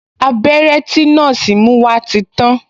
Abẹ́rẹ́ tí nọ́ọ̀sì mú wá ti tàn